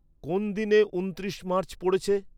কোন দিনে ঊনত্রিশে মার্চ পড়েছে?